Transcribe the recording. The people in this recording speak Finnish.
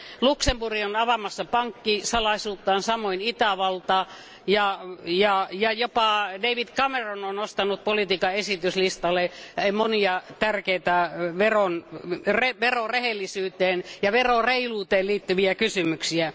Luxemburg on avaamassa pankkisalaisuuttaan, samoin Itävalta, ja jopa David Cameron on nostanut politiikan esityslistalle monia tärkeitä verorehellisyyteen ja reiluuteen liittyviä kysymyksiä.